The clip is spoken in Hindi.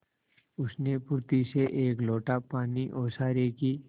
उसने फुर्ती से एक लोटा पानी ओसारे की